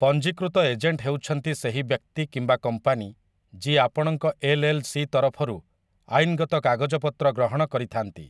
ପଞ୍ଜୀକୃତ ଏଜେଣ୍ଟ ହେଉଛନ୍ତି ସେହି ବ୍ୟକ୍ତି କିମ୍ବା କମ୍ପାନୀ ଯିଏ, ଆପଣଙ୍କ ଏଲ୍‌.ଏଲ୍‌.ସି. ତରଫରୁ ଆଇନଗତ କାଗଜପତ୍ର ଗ୍ରହଣ କରିଥାନ୍ତି ।